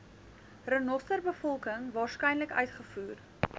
renosterbevolking waarskynlik uitgevoer